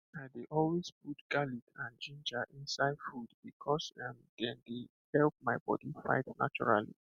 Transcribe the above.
i dey always put garlic and ginger inside food because um dem dey help my body fight naturally